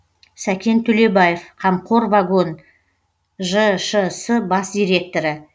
сәкен төлебаев қамқор вагон жшс бас директоры